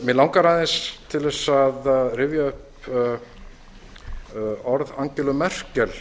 mig langar aðeins til að rifja upp orð angelu merkel